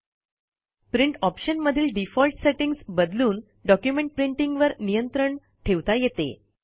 print ऑप्शनमधील default settings बदलून document प्रिंटींगवर नियंत्रण ठेवता येते